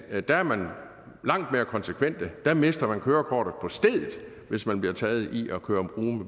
at der er man langt mere konsekvente der mister man kørekortet på stedet hvis man bliver taget i at køre